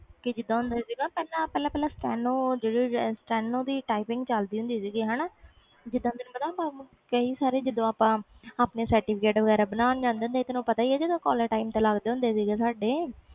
ਪਹਿਲੇ ਜੀਂਦਾ steno typing ਦੀ ਚਲਦੀ ਹੁੰਦੀ ਸੀ ਜੀਂਦਾ ਤੈਨੂੰ ਪਤਾ ਆਪਾ ਆਪਣੇ certificate ਵਗੈਰਾ ਬਣਾ ਜਾਂਦੇ ਸੀ ਤੈਨੂੰ ਤੇ ਪਤਾ ਹੀ ਆ collage time ਲਗਦੇ ਹੁੰਦੇ ਸੀ